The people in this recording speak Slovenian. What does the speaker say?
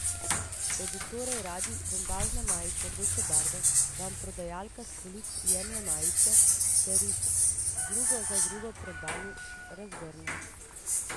Če bi torej radi bombažno majico rdeče barve, vam prodajalka s polic jemlje majice ter jih drugo za drugo pred vami razgrne.